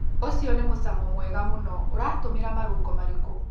ũcio nĩ mũcamo mwega mũno. ũratũmĩre marũngo marĩkũ?